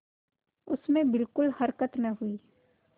उसमें बिलकुल हरकत न हुई